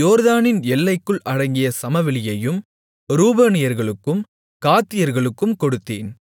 யோர்தானின் எல்லைக்குள் அடங்கிய சமவெளியையும் ரூபனியர்களுக்கும் காத்தியர்களுக்கும் கொடுத்தேன்